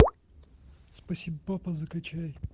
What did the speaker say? спасибо папа закачай